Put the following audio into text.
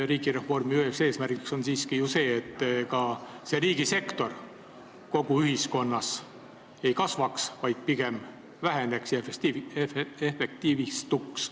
Riigireformi üks eesmärke on siiski ju see, et riigisektori osa kogu ühiskonnas ei kasvaks, vaid pigem väheneks ja sektor efektiivistuks.